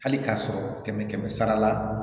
Hali k'a sɔrɔ kɛmɛ kɛmɛ sara la